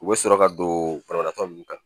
U bɛ sɔrɔ ka don banabaatɔ nun kan